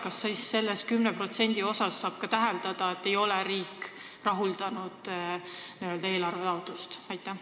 Kas siis selle 10% puhul võib järeldada, et ka riik ei rahulda nende firmade n-ö eelarvetaotlust?